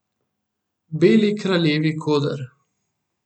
Beli kraljevi koder.